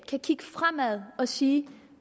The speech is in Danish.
kan kigge fremad og sige